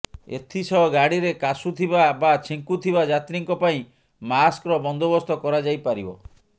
ଏଥିସହ ଗାଡ଼ିରେ କାଶୁଥିବା ବା ଛିଙ୍କୁଥିବା ଯାତ୍ରୀଙ୍କ ପାଇଁ ମାସ୍କର ବନ୍ଦୋବସ୍ତ କରାଯାଇପାରିବ